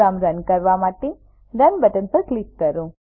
programme run કરવા માટે run button પર ક્લિક કરો